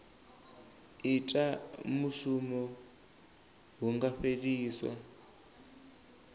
ita mushumo hu nga fheliswa